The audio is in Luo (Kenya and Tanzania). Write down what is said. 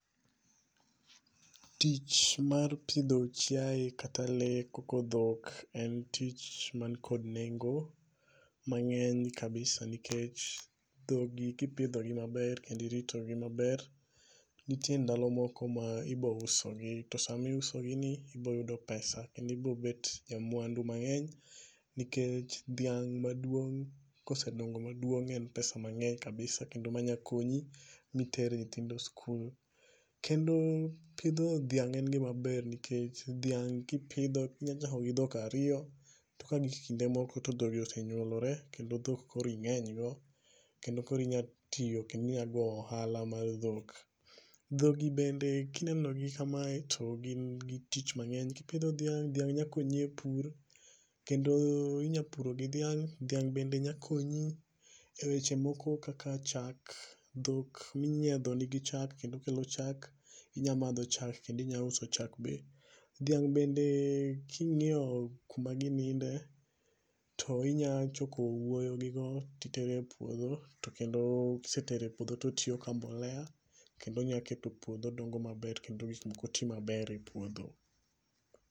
Tich mar pidho chiaye kata lee koko dhok en tich man kod nengo mangeny kabisa nikech dhog gi kipidho gi maber kendo irito gi maber, nitie ndalo moko ma ibo usogi to sama iuso gi ni ibo yudo pesa kendo ibo bet ja mwandu mangeny nikech dhiang' maduong kosedongo maduong en pesa mangeny kabisa kendo manya konyo miter nyithindo e skul. Kendo pidho dhiang' en gima ber nikech dhiang' kipidho inya chako gi dhok ariyo to kagik kinde moko to dhogi osenyuolore kendo dhogi koro ingeny go kendo koro inya tiyo kendo inya go ohala mar dhok. Dhogi bende kineno gi kamae to gin gi tich mangeny. Kipidho dhiang', dhiang' nya konyi e pur kendo inya puro gi dhiang'. dhiang' be nya konyi e weche moko kaka chak, dhok minyiedho nigi chak kendo kelo chak, inya madho chak kendo inya uso chak be. Dhiang' bende kingiyo kuma gininde, to inya choko owuoyo gigo titero e puodho kendo kisetero e puodho to tiyo ka mbolea kendo nya keto puodho dongo maber kendo gik moko tii maber e puodho